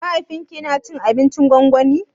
Mahaifin ki yana cin abincin gwangwani?